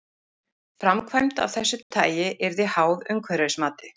Framkvæmd af þessu tagi yrði háð umhverfismati.